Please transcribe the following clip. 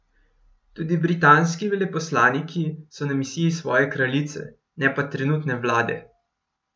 Tudi britanski veleposlaniki so na misiji svoje kraljice, ne pa trenutne vlade.